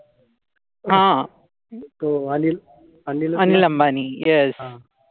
Anil Ambani yes